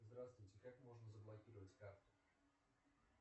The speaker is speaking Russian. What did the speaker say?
здравствуйте как можно заблокировать карту